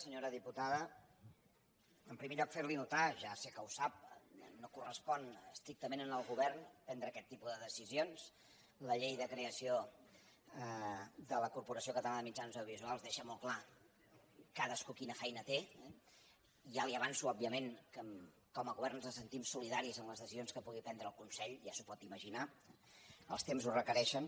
senyora diputada en primer lloc fer li notar ja sé que ho sap que no correspon estrictament al govern prendre aquest tipus de decisions la llei de creació de la corporació catalana de mitjans audiovisuals deixa molt clar cadascú quina feina té eh ja li avanço òbviament que com a govern ens sentim solidaris amb les decisions que pugui prendre el consell ja s’ho pot imaginar els temps ho requereixen